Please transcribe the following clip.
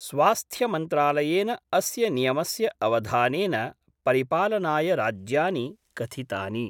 स्वास्थ्यमन्त्रालयेन अस्य नियमस्य अवधानेन परिपालनाय राज्यानि कथितानि।